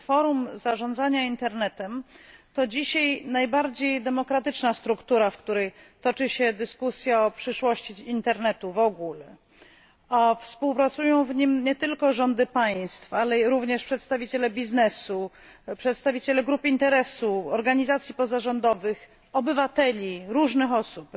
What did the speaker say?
Forum Zarządzania Internetem to dzisiaj najbardziej demokratyczna struktura, w której toczy się dyskusja o przyszłości internetu w ogóle. Współpracują w nim nie tylko rządy państw, ale również przedstawiciele biznesu, przedstawiciele grup interesu, organizacji pozarządowych, obywateli, różnych osób.